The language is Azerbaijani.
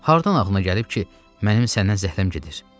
Hardan ağlına gəlib ki, mənim səndən zəhləm gedir?